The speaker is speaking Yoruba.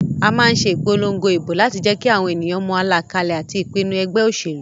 A má nse ìpolongo ìbò láti jékí àwon ènìyàn mo àlàkalè àti ìpinu egbé òsèlú